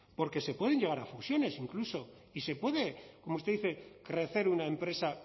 porque se pueden llegar a fusiones incluso y se puede como usted dice crecer una empresa